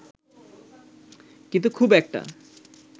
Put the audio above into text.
কিন্তু খুব একটা